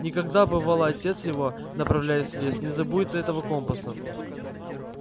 никогда бывало отец его направляясь в лес не забудет этого компаса